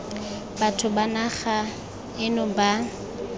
batho ba naga eno ba